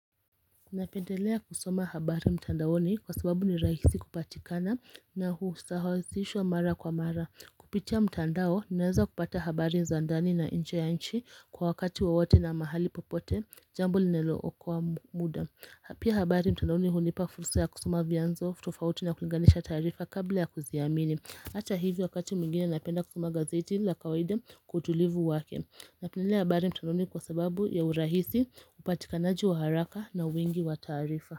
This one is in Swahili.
Napendelea kusoma habari mtandaoni, kwa sababu ni rahisi kupatikana na usawazishwa mara kwa mara. Kupitia mtandao naweza kupata habari za ndani na nje ya nchi kwa wakati wowote na mahali popote jambo linilookoa muda Pia habari mtandaoni hunipa kufursa ya kusoma vyanzo, tofauti na kulinganisha taarifa kabla ya kuziamini. Ata hivyo wakati mwigine napenda kusoma gazeti la kawaida kwa utulivu wake. Napendelea habari mtandaoni kwa sababu ya urahisi upatikanaji wa haraka na wingi wa taarifa.